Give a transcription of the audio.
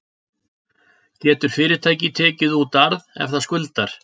Getur fyrirtæki tekið út arð ef það skuldar?